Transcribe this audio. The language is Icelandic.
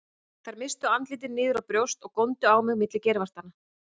Þær misstu andlitin niður á brjóst og góndu á mig milli geirvartanna.